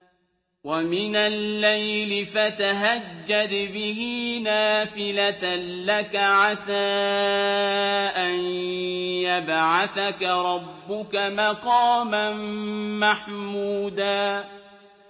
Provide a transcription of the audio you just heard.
وَمِنَ اللَّيْلِ فَتَهَجَّدْ بِهِ نَافِلَةً لَّكَ عَسَىٰ أَن يَبْعَثَكَ رَبُّكَ مَقَامًا مَّحْمُودًا